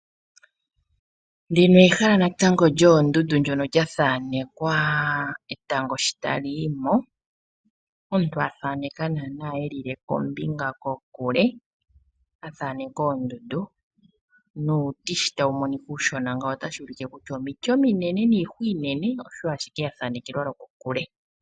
Ndino ehala natango lyondundu lya thanekwa etango shotali yimo, omuntu athaneka nana elikombinga kokule a thaneka oondundu nuuti sho tawu monika uushona ngawo otashi ulike kutya oomiti ominene niihwa inene, osho ashike yathanekelwa loko kule.